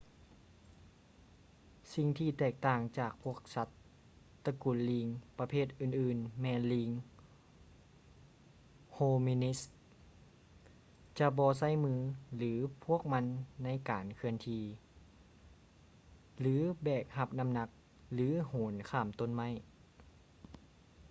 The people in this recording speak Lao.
ສິ່ງທີ່ແຕກຕ່າງຈາກພວກສັດຕະກຸນລີງປະເພດອື່ນໆແມ່ນລີງ ໂຮມິນິດສ໌ hominids ຈະບໍ່ໃຊ້ມືຂອງພວກມັນໃນການເຄື່ອນທີ່ ຫຼື ແບກຮັບນ້ຳໜັກ ຫຼື ໂຫນຂ້າມຕົ້ນໄມ້